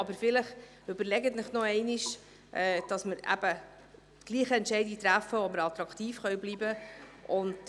Aber, vielleicht überlegen Sie es sich noch einmal, sodass wir trotzdem eine Entscheidung treffen, bei der wir attraktiv bleiben können.